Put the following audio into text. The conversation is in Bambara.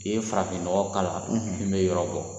I ye farafinɔgɔ k'a la min bɛ yɔrɔ bɔ